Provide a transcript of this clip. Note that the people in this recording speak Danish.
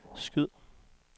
skyd